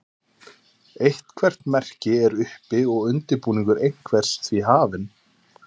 eitthvert merki er uppi og undirbúningur einhvers því hafinn